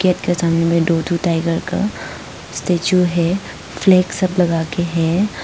इसके सामने में दो ठो टाइगर का स्टेच्यू है फ्लैग सब लगा के है।